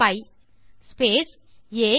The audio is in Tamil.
π ஸ்பேஸ் ஆ